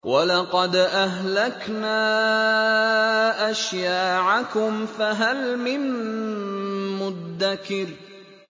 وَلَقَدْ أَهْلَكْنَا أَشْيَاعَكُمْ فَهَلْ مِن مُّدَّكِرٍ